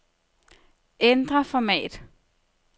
Ændr format.